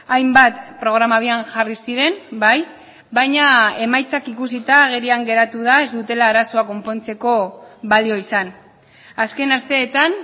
hainbat programa abian jarri ziren bai baina emaitzak ikusita agerian geratu da ez dutela arazoa konpontzeko balio izan azken asteetan